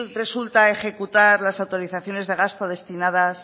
resulta ejecutar las actualizaciones de gasto destinadas